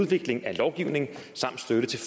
udvikling af lovgivning samt støtte til